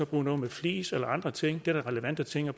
bruge noget med flis eller andre ting det er da relevante ting at